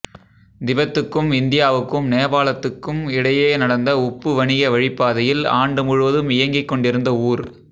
திபெத்துக்கும் இந்தியாவுக்கும் நேபாளத்துக்கும் இடையே நடந்த உப்பு வணிக வழிப்பாதையில் ஆண்டுமுழுவதும் இயங்கிக்கொண்டிருந்த ஊர்